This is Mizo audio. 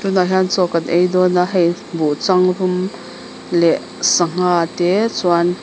tunah hian chaw kan ei dawn a hei buhchangrum leh sangha te chuan.